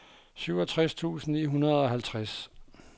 syvogtres tusind ni hundrede og halvtreds